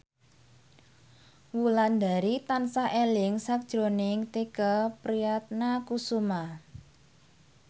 Wulandari tansah eling sakjroning Tike Priatnakusuma